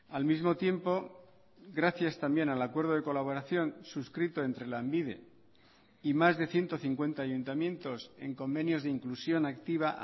al mismo tiempo gracias también al acuerdo de colaboración suscrito entre lanbide y más de ciento cincuenta ayuntamientos en convenios de inclusión activa